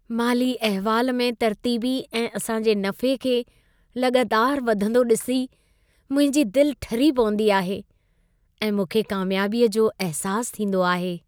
माली अहिवाल में तरतीबी ऐं असां जे नफ़े खे लॻातारि वधंदो ॾिसी मुंहिंजी दिलि ठरी पवंदी आहे ऐं मूंखे कामयाबीअ जो अहिसासु थींदो आहे।